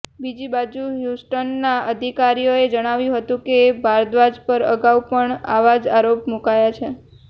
બીજીબાજુ હ્યુસ્ટનના અધિકારીઓએ જણાવ્યું હતું કે ભારદ્વાજ પર અગાઉ પણ આવા જ આરોપ મુકાયા છે